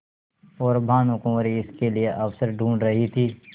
और भानुकुँवरि इसके लिए अवसर ढूँढ़ रही थी